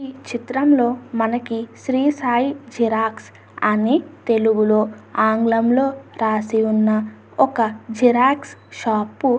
ఈ చిత్రంలో మనకి శ్రీ సాయి జిరాక్స్ అని తెలుగులో ఆంగ్లంలో రాసి ఉన్న ఒక జిరాక్స్ షాపు .